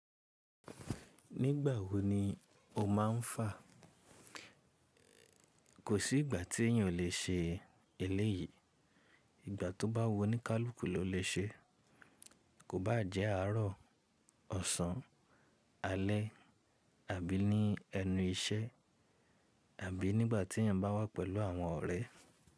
Nígbà wo ni o máà ń fà? Kò sí ìgbà tí èyàn ò lè ṣe eléyìí. Ìgbà tó bá wu onikaluku lọ lè ṣe. Kò bá jẹ́ àárọ̀, ọ̀sán, alẹ́, àbí ní ẹnu iṣẹ́, àbí nígbà tí èyàn bá wà pẹ̀lú àwọn ọ̀rẹ́.